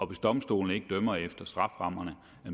hvis domstolene ikke dømmer efter strafferammerne